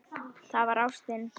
Það var ástin.